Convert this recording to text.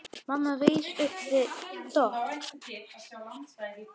Mamma reis upp við dogg.